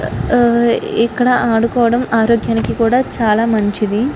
ఇక్కడ ఆడుకోవడం ఆరోగ్యానికి కూడా చాలా మంచిది.